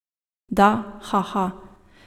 Da, haha.